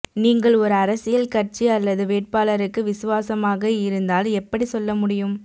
நீங்கள் ஒரு அரசியல் கட்சி அல்லது வேட்பாளருக்கு விசுவாசமாக இருந்தால் எப்படி சொல்ல முடியும்